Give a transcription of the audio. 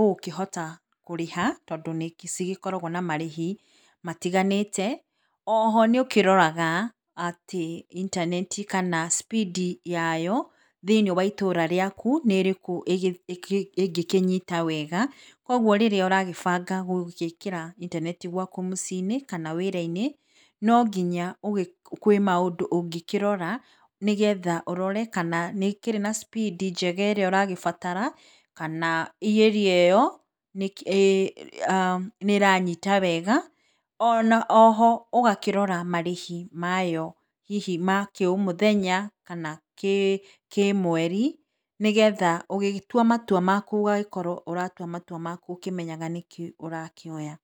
ũgũkĩhota kũrĩha tondũ nĩ cigĩkoragwo na marĩhi matiganĩte. O ho nĩ ũkĩroraga atĩ intaneti kana speed yayo thĩiniĩ wa itũra rĩaku nĩ ĩrĩkũ ĩngĩkĩnyita wega, kwoguo rĩrĩa ũragĩbanga gũgĩkĩra intaneti gwaku mũciĩ kana wĩra-inĩ no nginya kwĩ maũndũ ũngĩkĩrora, nĩgetha urore kana nĩ ĩkĩrĩ na speed njega ĩrĩa ũragĩbatara kana area ĩyo nĩranyita wega, ona o ho ũgakĩrora marĩhi mayo hihi ma kĩũmũthenya kana kĩmweri, nĩgetha ũgĩtua matua maku ũgagĩkorwo ũratua matua maku ũkĩmenyaga nĩkĩ ũrakĩoya.